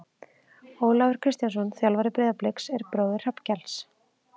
Ólafur Kristjánsson þjálfari Breiðabliks er bróðir Hrafnkels.